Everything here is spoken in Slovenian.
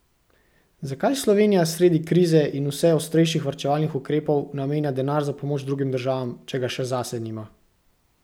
Zakaj Slovenija sredi krize in vse ostrejših varčevalnih ukrepov namenja denar za pomoč drugim državam, če ga še zase nima?